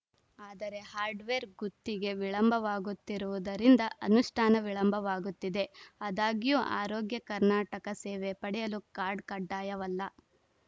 ಆದರೆ ಹಾರ್ಡ್‌ವೇರ್‌ ಗುತ್ತಿಗೆ ವಿಳಂಬವಾಗುತ್ತಿರುವುದರಿಂದ ಅನುಷ್ಠಾನ ವಿಳಂಬವಾಗುತ್ತಿದೆ ಆದಾಗ್ಯೂ ಆರೋಗ್ಯ ಕರ್ನಾಟಕ ಸೇವೆ ಪಡೆಯಲು ಕಾರ್ಡ್‌ ಕಡ್ಡಾಯವಲ್ಲ